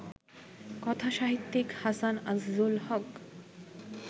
কথাসাহিত্যিক হাসান আজিজুল হক